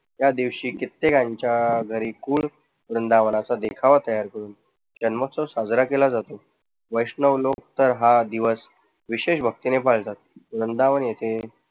त्या दिवशी कित्येकांच्या घरी वृंदावनाचा देखावा तयार करून जन्मोत्सव साजरा केला जातो. वैष्णव लोक तर हा दिवस विशेष भक्तीने पाळतात. वृंदावन येथे